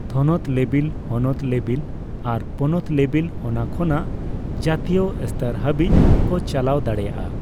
ᱛᱷᱚᱱᱚᱛ ᱞᱮᱵᱮᱞ, ᱦᱚᱱᱚᱛ ᱞᱮᱵᱮᱞ, ᱟᱨ ᱯᱚᱱᱚᱛ ᱞᱮᱵᱮᱞ ᱚᱱᱟ ᱠᱷᱚᱱᱟ ᱡᱟᱹᱛᱤᱭᱚ ᱥᱛᱚᱨ ᱦᱟᱵᱤᱪ ᱠᱚ ᱪᱟᱞᱟᱣ ᱫᱟᱲᱮᱭᱟᱜᱼᱟ ᱾